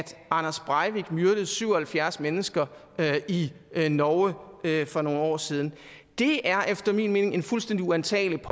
anders breivik myrdede syv og halvfjerds mennesker i norge for nogle år siden det er efter min mening en fuldstændig uantagelig